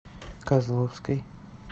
козловской